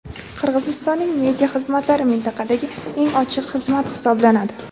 Qirg‘izistonning media xizmatlari mintaqadagi "eng ochiq" xizmat hisoblanadi.